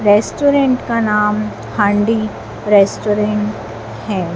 Restaurant का नाम Handi restaurant है।